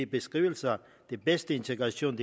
beskrivelsen af at den bedste integration